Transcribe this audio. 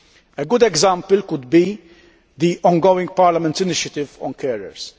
A good example could be the ongoing Parliament initiative on carers.